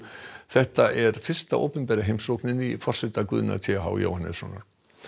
þetta er fyrsta opinbera heimsóknin í forsetatíð Guðna t h Jóhannessonar